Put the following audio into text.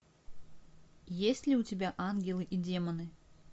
есть ли у тебя ангелы и демоны